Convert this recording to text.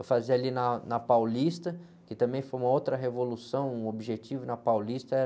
Eu fazia ali na, na Paulista, que também foi uma outra revolução, o Objetivo na Paulista era...